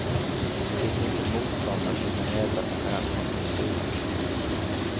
Det finns inte motståndare som kan mäta sig med den sortens spel.